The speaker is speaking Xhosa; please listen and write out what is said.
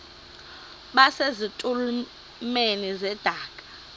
base zitulmeni zedaka